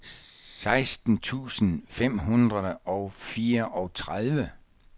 seksten tusind fem hundrede og fireogtredive